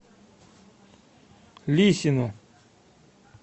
лисину